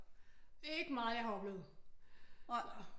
Det er ikke meget jeg har oplevet